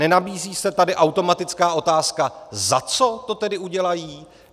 Nenabízí se tady automatická otázka, za co to tedy udělají?